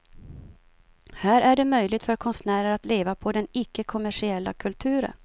Här är det möjligt för konstnärer att leva på den ickekommersiella kulturen.